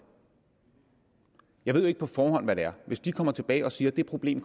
jeg ved jo ikke på forhånd hvad det er hvis de kommer tilbage og siger at det problem